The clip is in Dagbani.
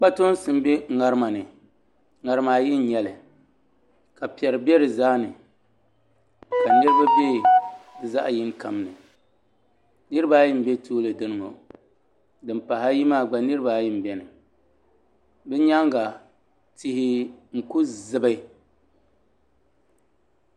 Kpatoonsi n bɛ ŋarima ni ŋarima ayi n nyɛli ka piɛri bɛ di zaa ni ka niraba bɛ zaɣ yini kam ni niraba ayi n bɛ tuuli dini ŋo din pahi ayi maa gba niraba ayi n biɛni bi nyaanga tihi n ku zibi